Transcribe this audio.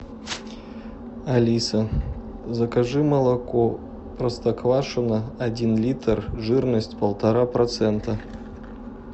алиса закажи молоко простоквашино один литр жирность полтора процента